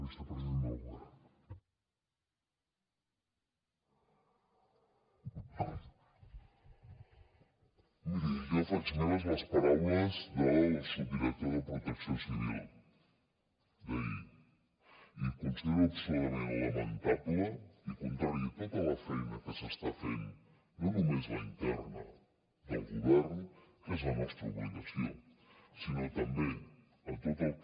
miri jo faig meves les paraules del subdirector de protecció civil d’ahir i considero absolutament lamentable i contrari a tota la feina que s’està fent no només la interna del govern que és la nostra obligació sinó també a tot el que